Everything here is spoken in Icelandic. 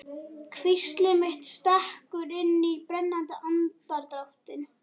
Hvísl mitt stekkur inn í brennandi andardráttinn.